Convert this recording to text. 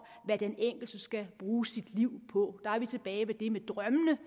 hvad den enkelte skal bruge sit liv på der er vi tilbage ved det med drømmene